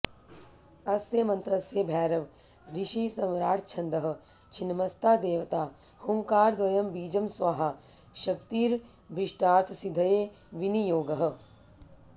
अस्य मन्त्रस्य भैरव ऋषिः सम्राट्छन्दः छिन्नमस्ता देवता हूङ्कारद्वयं बीजं स्वाहा शक्तिरभीष्टार्थसिद्धये विनियोगः